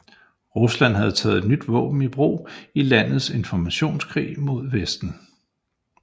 Rusland har taget et nyt våben i brug i landets informationskrig mod Vesten